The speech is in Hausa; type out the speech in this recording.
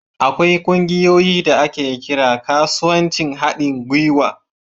Akwai ƙungiyoyin da ake kira kasuwancin haɗin gwiwa.